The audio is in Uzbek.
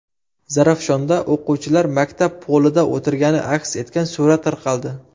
Zarafshonda o‘quvchilar maktab polida o‘tirgani aks etgan surat tarqaldi.